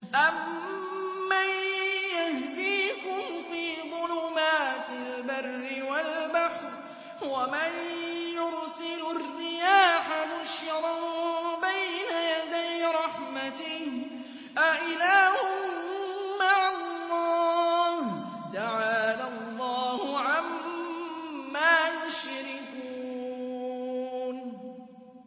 أَمَّن يَهْدِيكُمْ فِي ظُلُمَاتِ الْبَرِّ وَالْبَحْرِ وَمَن يُرْسِلُ الرِّيَاحَ بُشْرًا بَيْنَ يَدَيْ رَحْمَتِهِ ۗ أَإِلَٰهٌ مَّعَ اللَّهِ ۚ تَعَالَى اللَّهُ عَمَّا يُشْرِكُونَ